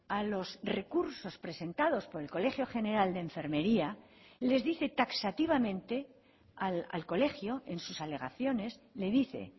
a los recursos presentados por el colegio general de enfermería les dice taxativamente al colegio en sus alegaciones le dice